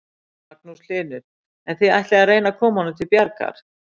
Magnús Hlynur: En þið ætlið að reyna að koma honum til bjargar?